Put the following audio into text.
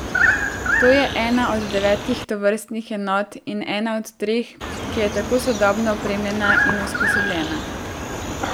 To je ena od devetih tovrstnih enot in ena od treh, ki je tako sodobno opremljena in usposobljena.